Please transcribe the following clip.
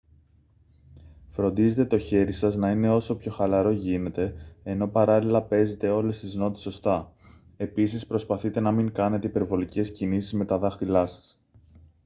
φροντίζετε το χέρι σας να είναι όσο πιο χαλαρό γίνεται ενώ παράλληλα παίζετε όλες τις νότες σωστά επίσης προσπαθείτε να μην κάνετε υπερβολικές κινήσεις με τα δάχτυλά σας